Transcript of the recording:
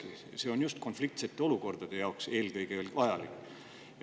See on eelkõige vajalik just konfliktsete olukordade jaoks.